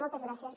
moltes gràcies